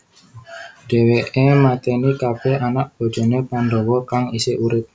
Dheweke mateni kabeh anak bojone Pandhawa kang isih urip